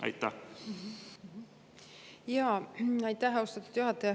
Aitäh, austatud juhataja!